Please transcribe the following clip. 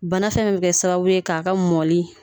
Bana fɛn fɛn bi kɛ sababu ye k'a ka mɔli